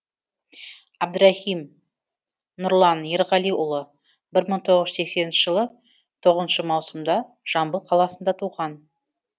әбдірахым нұрлан ерғалиұлы бір мың тоғыз жүз сексенінші жылы тоғызыншы маусымда жамбыл қаласында туған